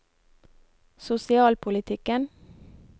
sosialpolitikken